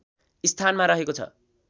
स्थानमा रहेको छ